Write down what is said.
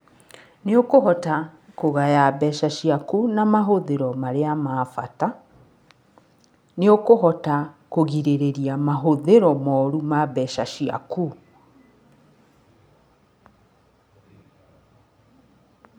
Nĩ ũkũhota kũgaya mbeca ciaku na mahũthĩro marĩa ma bata, nĩ ũkũhota kũgirĩrĩria mahũthĩro moru ma mbeca ciaku.